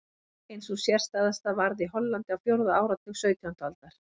Ein sú sérstæðasta varð í Hollandi á fjórða áratug sautjándu aldar.